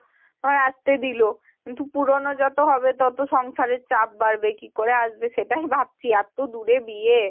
বা আসতে দিল কিন্তু পুরোনো যত হবে তত সংসারের চাপ বাড়বে তো কিকরে আসবে সেটাই ভাবছি এত দূরে বিয়ে।